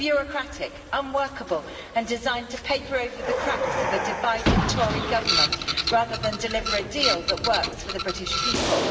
They are bureaucratic, unworkable and designed to paper over the cracks of a divided Tory Government, rather than deliver a deal that works for the British people.